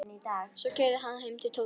Svo keyrði ég hann heim til Tóta.